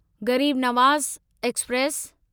Garib Nawaz express